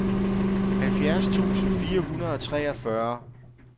halvfjerds tusind fire hundrede og treogfyrre